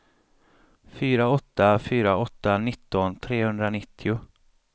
fyra åtta fyra åtta nitton trehundranittio